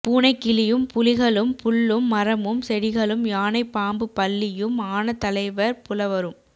பூனை கிளியும் புலிகளும் புல்லும் மரமும் செடிகளும் யானை பாம்பு பல்லியும் ஆன தலைவர் புலவரும்